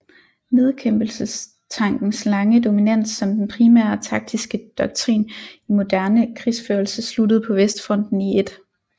Nedkæmpelsestankens lange dominans som den primære taktiske doktrin i moderne krigsførelse sluttede på Vestfronten i 1